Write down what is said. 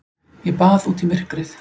Ég bað út í myrkrið.